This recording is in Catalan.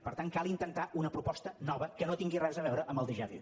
per tant cal intentar una proposta nova que no tingui res a veure amb el déjà vu